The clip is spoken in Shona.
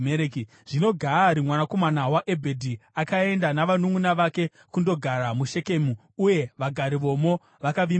Zvino Gaari mwanakomana waEbhedhi akaenda navanunʼuna vake kundogara muShekemu, uye vagari vomo vakavimba naye.